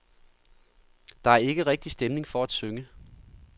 Der er ikke rigtig stemning for at synge.